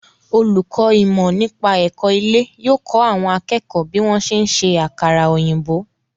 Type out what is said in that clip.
Olùkọ́ ìmọ̀-nípa-ẹ̀kọ́ ilé yóò kọ́ àwọn akẹ́kọ̀ọ́ bí wọ́n ṣe ń ṣe àkàrà-òyìbó.